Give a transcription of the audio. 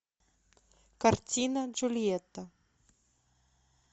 картина джульетта